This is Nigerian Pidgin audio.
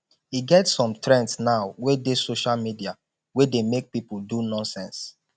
e get some trends now wey dey social media wey dey make people do nonsense